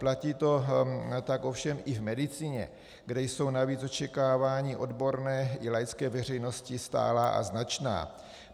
Platí to tak ovšem i v medicině, kde jsou navíc očekávání odborné i laické veřejnosti stálá a značná.